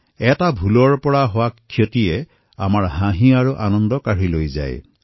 এটা ভুলে কৰে লোকচান সুখ আৰু হাঁহি কাঢ়ি লৈ যায়